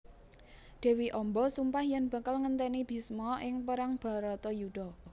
Dewi Amba sumpah yen bakal ngenteni Bisma ing perang Baratayuda